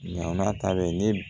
Ɲaman ta bɛ ne